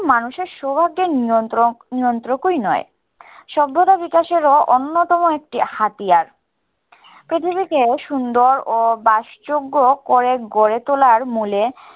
মানুষের সৌভাগ্যের নিয়ন্ত্রক নিয়ন্ত্রকই নয়, সভ্যতা বিকাশেরও অন্যতম একটি হাতিয়ার। পৃথিবীকে সুন্দর ও বাসযোগ্য করে গড়ে তোলার মুলে